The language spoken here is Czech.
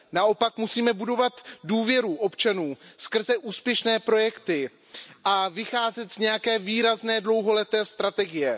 Naopak musíme budovat důvěru občanů skrze úspěšné projekty a vycházet z nějaké výrazné, dlouholeté strategie.